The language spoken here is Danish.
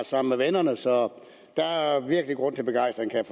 sammen med vennerne så der er virkelig grund til begejstring kan